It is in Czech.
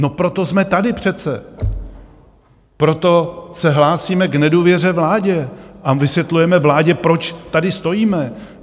No proto jsme tady přece, proto se hlásíme k nedůvěře vládě a vysvětlujeme vládě, proč tady stojíme.